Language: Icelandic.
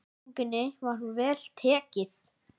Sýningunni var vel tekið.